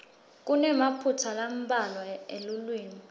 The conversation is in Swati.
kunemaphutsa lambalwa elulwimi